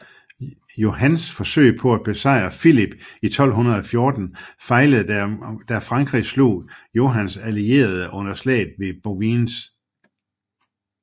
Johans forsøg på at besejre Filip i 1214 fejlede da frankrig slog Johans allierede under slaget ved Bouvines